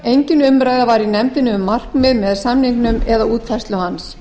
engin umræða var í nefndinni um markmið með samningnum eða útfærslu hans